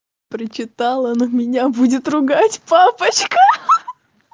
прочитала она меня будет ругать папочка